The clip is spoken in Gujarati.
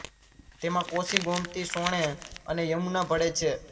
તેમાં કોશી ગોમતી સોણે અને યમુના ભળે છે